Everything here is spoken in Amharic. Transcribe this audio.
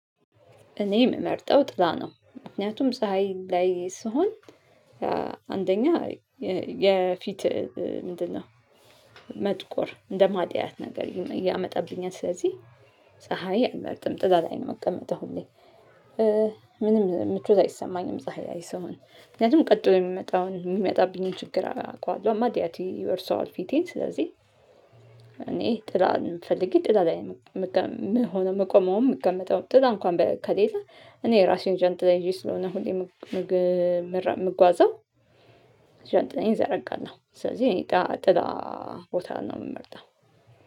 እኔ የምመርጠው ጥላ ነው። ምክንያቱም ፀሀይ ላይ ስሆን አንደኛ የፊት ምንድነው? መጥቆር እንደማድያት ነገር ያመጣብኛል ስለዚህ ፀሀይ አልመርጥም ጥላ ላይ ነው የምቀመጠው ሁሌ። ምንም ምቾት አይሰማኝም ፀሀይ ላይ ስሆን ምክንያቱም ቀጥሎ የሚመጣውን የሚመጣብኝን ችግር አውቃለሁ ማድያት ይወርሰዋል ፊቴን ስለዚህ። እኔ ጥላ ፈልጌ ጥላ ላይ ነው ምቆመውም ምቀመጠው። ጥላ እንኳን ከሌላ እኔ የራሴን ጃንጥላ ይዤ ስለሆነ ሁሌም ምጓዘው ጃንጥላዬን እዘረጋለሁ። ስለዚህ እኔ ጥላ ቦታን ነው ምመርጠው።